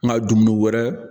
N ka dumuni wɛrɛ